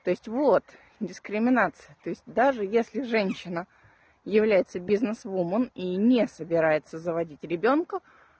то есть вот дискриминация то есть даже если женщина является бизнесвумен и не собирается заводить ребёнка